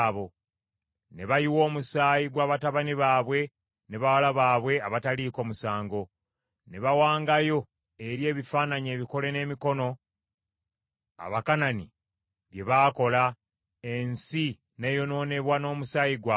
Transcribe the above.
Ne bayiwa omusaayi gwa batabani baabwe ne bawala baabwe abataliiko musango, be baawangayo eri ebifaananyi ebikole n’emikono Abakanani bye baakola, ensi n’eyonoonebwa n’omusaayi gwabwe.